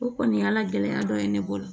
O kɔni y'a gɛlɛya dɔ ye ne bolo